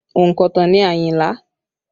Ònkọ̀tan ni Ayinla